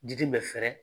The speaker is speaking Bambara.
Diden bɛ fɛɛrɛ